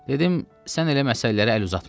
Dedim, sən elə məsələlərə əl uzatma.